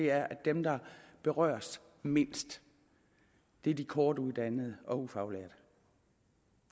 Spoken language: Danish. er er at dem der berøres mindst er de kortuddannede og ufaglærte